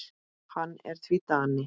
Hann er því Dani.